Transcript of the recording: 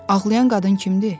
Ağlayan qadın kimdir?